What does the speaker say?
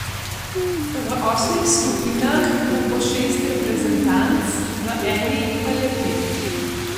V osmih skupinah bo po šest reprezentanc, v eni pa le pet.